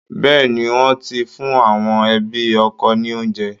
Bẹ́ẹ̀ ni, wọ́n ti fún àwọn ẹbi ọkọ ní òunjẹ